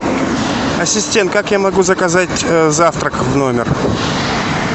ассистент как я могу заказать завтрак в номер